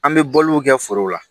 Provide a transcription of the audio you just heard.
An bɛ bɔliw kɛ forow la